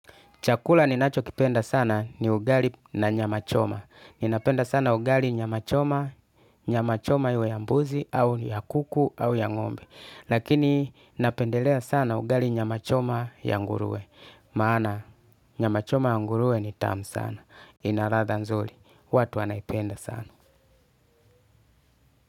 Chakula ninachokipenda sana ni ugali na nyama choma. Ninapenda sana ugali nyama choma, nyama choma iwe ya mbuzi, au ya kuku, au ya ngombe. Lakini napendelea sana ugali nyama choma ya nguruwe. Maana nyama choma ya nguruwe ni tamu sana. Ina ladha nzuri, watu wanaipenda sana.